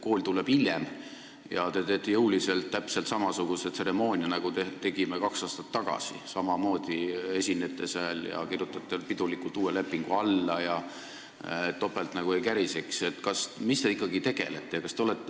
Kool tuleb hiljem ja teie teete jõuliselt täpselt samasuguse tseremoonia, nagu meie tegime kaks aastat tagasi, samamoodi te esinete seal ja kirjutate pidulikult uue lepingu alla, et topelt nagu ei käriseks.